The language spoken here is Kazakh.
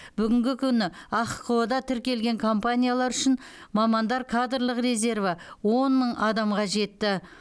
бүгінгі күні ахқо да тіркелген компаниялар үшін мамандар кадрлық резерві он мың адамға жетті